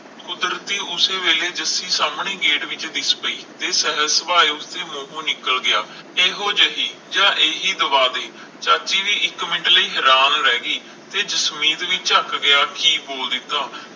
ਕੁਦਰਤੀ ਉਸ ਵੇਲੇ ਜੱਸੀ ਸਾਮਣੇ ਹੀ ਗੇਟ ਵਿਚ ਹੀ ਦਿਸ ਪਈ ਤੇ ਸਰਸ ਉਸ ਦੇ ਮੂਹੋ ਨਿਕਲ ਗਿਆ ਇਹੋ ਜਿਹੀ ਜਾ ਹੀ ਦਵਾ ਦੀ ਤਾ ਅਸੀਂ ਵੀ ਇਕ ਮਿੰਟ ਲਈ ਹੈਰਾਨ ਰਹਿ ਗਏ ਕੇ ਜਸਮੀਤ ਵੀ ਝਕ ਗਿਆ ਕਿ ਬੋਲ ਦਿੱਤਾ